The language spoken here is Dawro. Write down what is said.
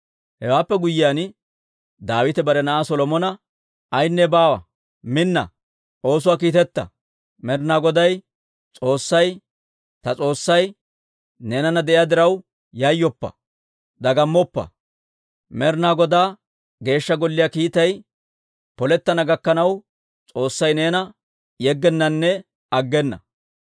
Hewaappe guyyiyaan, Daawite bare na'aa Solomona, «Aynne baawa; minna! Oosuwaa ootsa! Med'inaa Goday S'oossay, ta S'oossay neenana de'iyaa diraw, yayyoppa; dagammoppa! Med'inaa Godaa Geeshsha Golliyaa kiitay polettana gakkanaw, S'oossay neena yeggennanne aggena.